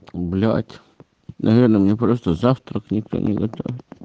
блять наверное меня просто завтрак никто не готовил